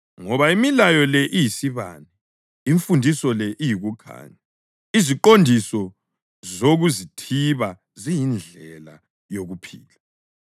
Ngoba imilayo le iyisibane, imfundiso le iyikukhanya, leziqondiso zokuzithiba ziyindlela yokuphila,